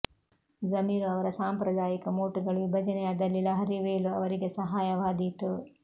ಜಮೀರ್ ಅವರ ಸಾಂಪ್ರದಾಯಿಕ ವೋಟುಗಳು ವಿಭಜನೆಯಾದಲ್ಲಿ ಲಹರಿ ವೇಲು ಅವರಿಗೆ ಸಹಾಯವಾದೀತು